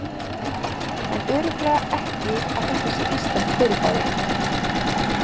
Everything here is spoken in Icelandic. En örugglega ekki að þetta sé íslenskt fyrirbæri.